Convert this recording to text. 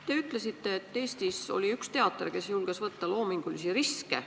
Te ütlesite, et Eestis oli üks teater, kes julges võtta loomingulisi riske.